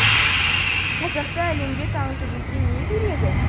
қазақты әлемге таныту бізге не береді